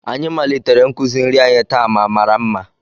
Anyị malitere nkuzi nri anyị taa ma mara mma